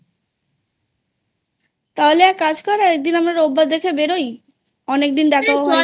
তাহলে একটা কাজ কর একদিন আমরা রোববার দেখে বেরোই অনেকদিন দেখাও হয় নি